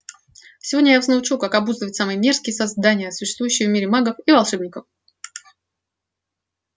сегодня я вас научу как обуздывать самые мерзкие создания существующие в мире магов и волшебников